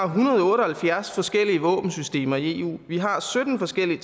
hundrede og otte og halvfjerds forskellige våbensystemer i eu vi har sytten forskellige